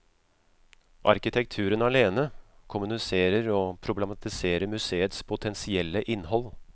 Arkitekturen alene kommuniserer og problematiserer museets potensielle innhold.